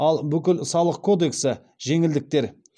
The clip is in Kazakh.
ал бүкіл салық кодексі жеңілдіктер